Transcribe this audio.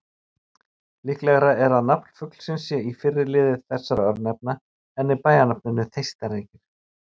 Líklegra er að nafn fuglsins sé í fyrri lið þessara örnefna en í bæjarnafninu Þeistareykir.